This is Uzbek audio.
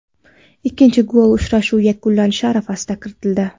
Ikkinchi gol uchrashuv yakunlanishi arafasida kiritildi.